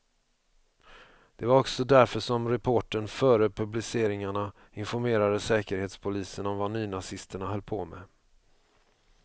Det var också därför som reportern före publiceringarna informerade säkerhetspolisen om vad nynazisterna höll på med.